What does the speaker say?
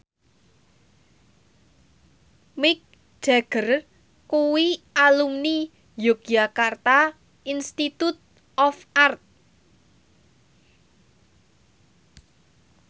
Mick Jagger kuwi alumni Yogyakarta Institute of Art